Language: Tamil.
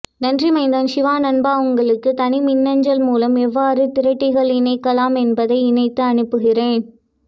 நன்றி மைந்தன் சிவா நண்பா உங்களுக்கு தனி மின்னஞ்சல் முலம் எவ்வாறு திரட்டிகள் இணைக்கலாம் என்பதை இணைத்து அனுப்புகிறேன்